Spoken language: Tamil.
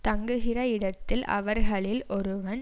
தங்குகிற இடத்தில் அவர்களில் ஒருவன்